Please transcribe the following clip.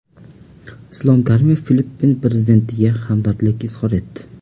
Islom Karimov Filippin prezidentiga hamdardlik izhor etdi.